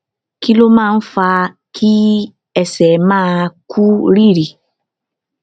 kí ló máa ń fa kí ẹsẹ máa kú rìrì